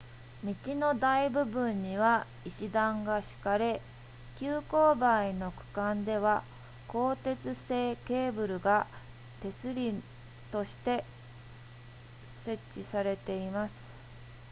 道の大部分には石段が敷かれ急勾配の区間では鋼鉄製ケーブルが手すりとして設置されています